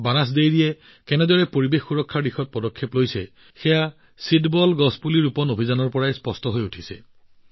বানাচ ডেইৰীয়েও পৰিৱেশ সুৰক্ষাৰ দিশত কেনেদৰে এখোজ আগবাঢ়িছে সেয়া ছিডেবল গছপুলি ৰোপণ অভিযানৰ জৰিয়তে জনা যায়